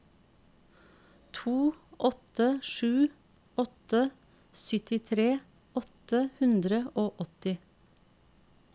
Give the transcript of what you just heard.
to åtte sju åtte syttitre åtte hundre og åtti